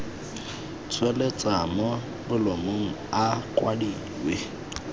tsweletswa mo bolumong a kwadilwe